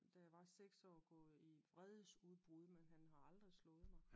Da jeg var i seks år gået i vredes udbrud men han har aldrig slået mig